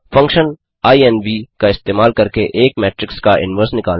3फंक्शन इन्व इन्व का इस्तेमाल करके एक मेट्रिक्स का इनवर्स निकालना